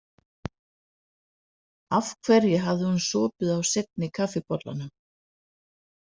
Af hverju hafði hún sopið á seinni kaffibollanum?